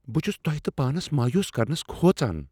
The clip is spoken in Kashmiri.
بہٕ چُھس تۄہِہ تہٕ پانس مایوس کرنس کھوژان ۔